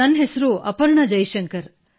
ನನ್ನ ಹೆಸರು ಅಪರ್ಣಾ ಜೈಶಂಕರ್